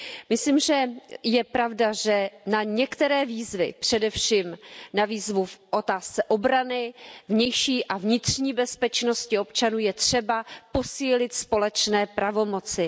Myslím, že je pravda, že na některé výzvy, především na výzvu v otázce obrany, vnější a vnitřní bezpečnosti občanů, je třeba posílit společné pravomoci.